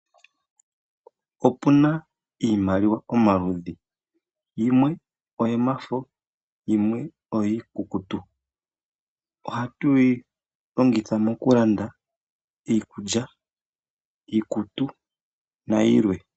Opuna iimaliwa yomaludhi yimwe oyomafo yimwe oyiikukutu. Ohatu yi longitha mokulanda iikutu, iikulya nayilwe.